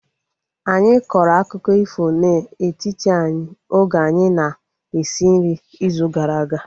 Anyị kọrọ akụkọ ifo na-etiti anyị oge anyị na-esi nri izu gara aga